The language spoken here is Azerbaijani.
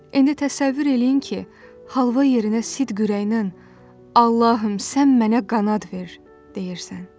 İndi təsəvvür eləyin ki, halva yerinə sid kürəyinə Allahım, sən mənə qanad ver deyirsən.